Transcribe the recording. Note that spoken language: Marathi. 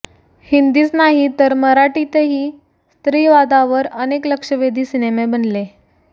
हिंदीच नाही तर मराठीतही स्त्रीवादावर अनेक लक्षवेधी सिनेमे बनले